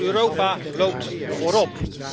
Europa loopt voorop.